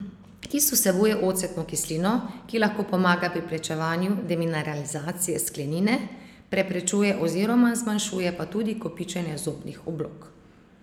Kis vsebuje ocetno kislino, ki lahko pomaga pri preprečevanju demineralizacije sklenine, preprečuje oziroma zmanjšuje pa tudi kopičenje zobnih oblog.